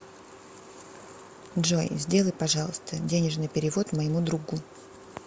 джой сделай пожалуйста денежный перевод моему другу